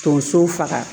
Tonso faga